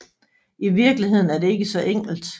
I virkeligheden er det ikke så enkelt